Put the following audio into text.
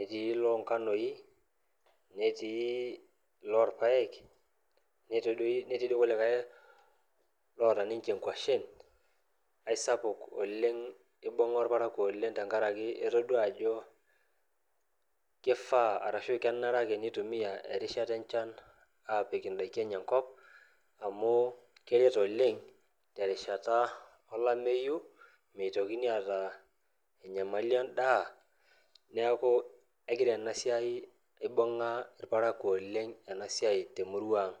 etii loonkanoi netii lorpayek netii doi, netii dii kulikae loota ninche inkuashen aisapuk oleng ibung'a irparakuo oleng tenkarake etodua ajo kifaa arashu kenare ake nitumia erishata enchan aapik indaiki enye enkop amu keret oleng terishata olameyu meitokini aata enyamali endaa niaku egira ena siai ibung'a irparakuo oleng ena siai temurua ang.